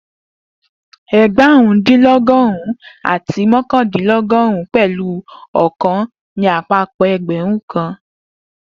Egbarun-din-dinlọgọrun-un ati mọkandinlọgọrun pẹlu okan ni apapọ ẹgbẹrun kan